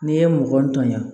N'i ye mɔgɔnintanya